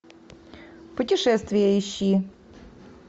путешествие ищи